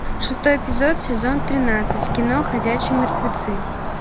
шестой эпизод сезон тринадцать кино ходячие мертвецы